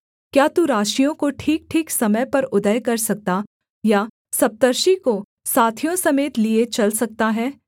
क्या तू राशियों को ठीकठीक समय पर उदय कर सकता या सप्तर्षि को साथियों समेत लिए चल सकता है